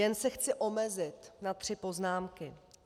Jen se chci omezit na tři poznámky.